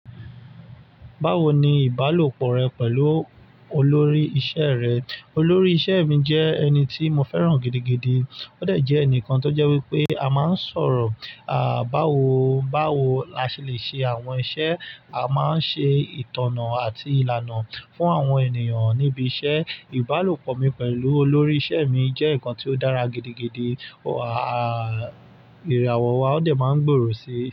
Báwo ni ìbálòpọ̀ rẹ pẹ̀lú olórí iṣẹ́ rẹ? Olórí iṣẹ́ mi jẹ́ ẹni tí mo fẹ́ràn gidigidi. Ó dẹ̀ jẹ́ ẹnìkan tó jẹ́ wípé a máa ń sọ̀rọ̀, à, báwo, báwo la ṣe lè ṣe àwọn iṣẹ́, a máa ń ṣe ìtànná àti ìlànà fún àwọn ènìyàn níbi iṣẹ́. Ìbálòpọ̀ mi pẹ̀lú olórí iṣẹ́ mi jẹ́ ǹkan tí ó dára gidigidi, à, ìràwọ̀ wa ó dẹ̀ máa ń gbòòrò si.